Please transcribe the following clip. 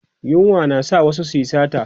yunwa na sa wasu su Yi sata